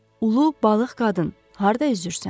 Ulu balıq qadın, harda üzürsən?